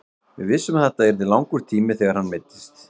Við vissum að þetta yrði langur tími þegar hann meiddist.